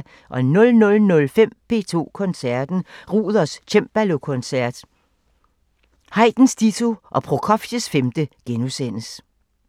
00:05: P2 Koncerten – Ruders cembalokoncert, Haydns ditto og Prokofievs femte *